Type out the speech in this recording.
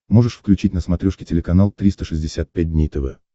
можешь включить на смотрешке телеканал триста шестьдесят пять дней тв